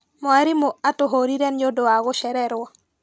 Mwarimũ atũhũrire nĩũndũ wa gũcererwo.